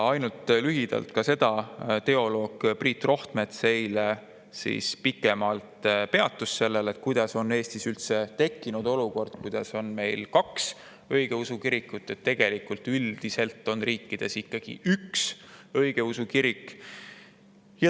Ainult ütlen lühidalt, et teoloog Priit Rohtmets peatus sellel eile pikemalt ja rääkis, kuidas on Eestis üldse tekkinud selline olukord, et meil on kaks õigeusu kirikut, sest üldiselt on riikides ikkagi üks õigeusu kirik.